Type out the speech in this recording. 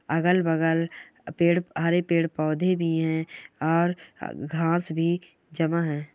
अगल-बगल पेड़ हरे पेड़ पौधे भी हैं और घास भी जमा है।